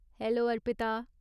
Hello, Arpita.